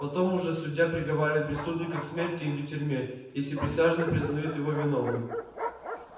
потом уже судья приговаривает преступника к смерти или тюрьме если присяжные признают его виновным